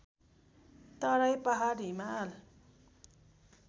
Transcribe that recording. तराई पहाड हिमाल